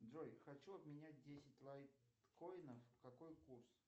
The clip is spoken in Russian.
джой хочу обменять десять лайткоинов какой курс